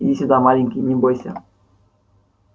иди сюда маленький не бойся